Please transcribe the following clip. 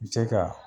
Se ka